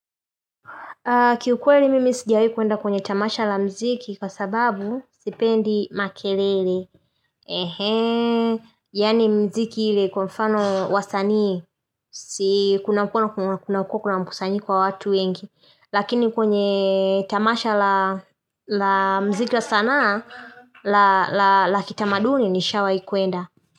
Kiukweli mimi sijawai kwenda kwenye tamasha la mziki kwa sababu sipendi makelele. Yaani mziki ile kwa mfano wasanii, si kuna kuwa kuna mkusanyiko wa watu wengi. Lakini kwenye tamasha la mziki la sanaa, la kitamaduni nishawai kwenda.